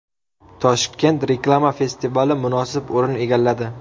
Toshkent reklama festivali munosib o‘rin egalladi.